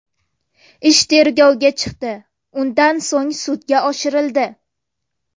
Ish tergovga chiqdi, undan so‘ng sudga oshirildi.